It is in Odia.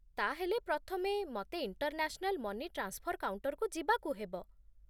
ତା'ହେଲେ, ପ୍ରଥମେ ମତେ ଇଣ୍ଟରନ୍ୟାସନାଲ ମନି ଟ୍ରାନ୍ସଫର୍ କାଉଣ୍ଟର୍‌କୁ ଯିବାକୁ ହେବ ?